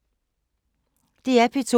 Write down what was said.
DR P2